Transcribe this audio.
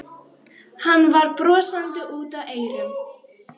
Hann var brosandi út að eyrum.